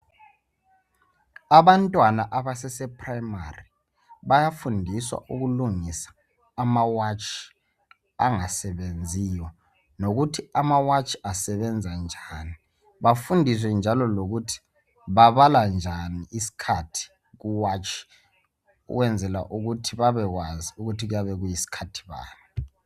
Abantwana abasese primari bayafundiswa ukulungisa amawatshi angasebenziyo. Lokuthi amawatshi asebenza njani. Bafundiswe njalo lokuthi babala njani isikhathi kuwatshi ukwenzela ukuthi babekwazi ukuthi kuyabe kuyisikhathi bani.